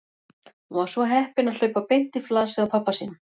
Hún var svo heppin að hlaupa beint í flasið á pabba sínum.